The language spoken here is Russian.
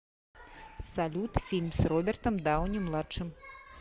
салют фильм с робертом дауни младшим